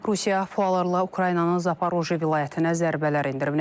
Rusiya PUA-larla Ukraynanın Zaporojye vilayətinə zərbələr endirib.